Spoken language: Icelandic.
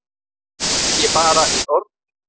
Og ekki bara í orði.